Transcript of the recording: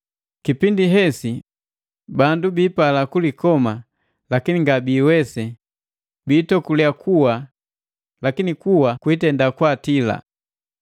Kipindi hesi bandu biipala kulikoma lakini ngabiiwese; biitokulya kuwa, lakini kuwa kwiitenda kwaatila.